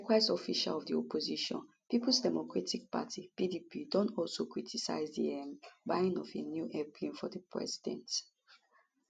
likewise officials of di opposition peoples democratic party pdp don also criticise di um buying of a new airplane for di president